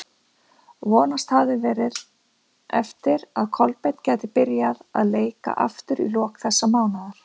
Vonast hafði verið eftir að Kolbeinn gæti byrjað að leika aftur í lok þessa mánaðar.